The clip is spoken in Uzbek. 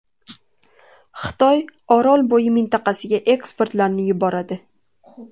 Xitoy Orolbo‘yi mintaqasiga ekspertlarni yuboradi.